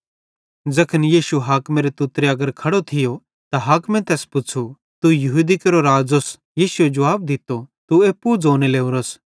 ज़ैखन यीशु हाकिमेरे तुत्तरे अगर खड़ो थियो ते हाकिम तैस पुच़्छ़ू तू यहूदी केरो राज़ोस यीशुए जुवाब दित्तो तू एप्पू ज़ोने लोरोस